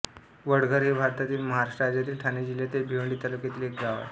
वडघर हे भारतातील महाराष्ट्र राज्यातील ठाणे जिल्ह्यातील भिवंडी तालुक्यातील एक गाव आहे